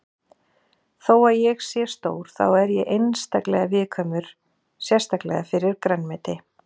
Þó að ég sé stór þá er ég einstaklega viðkvæmur sérstaklega fyrir grænmeti.